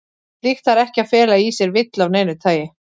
Slíkt þarf ekki að fela í sér villu af neinu tagi.